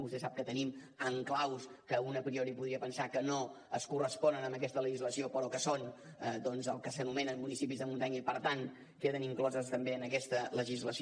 vostè sap que tenim enclavaments que un a priori podria pensar que no es corresponen amb aquesta legislació però que són doncs el que s’anomenen municipis de muntanya i per tant queden inclosos també en aquesta legislació